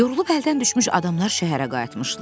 Yorulub əldən düşmüş adamlar şəhərə qayıtmışdılar.